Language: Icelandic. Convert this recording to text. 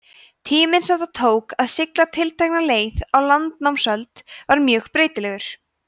tíminn sem það tók að sigla tiltekna leið á landnámsöld var mjög breytilegur